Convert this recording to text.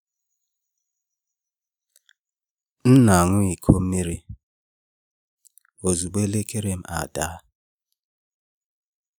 M na-aṅụ iko mmiri ozugbo elekere m ada.